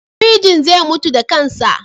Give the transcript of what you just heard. Firjin zai mutu da kansa.